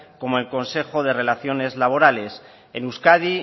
como el consejo de relaciones laborales en euskadi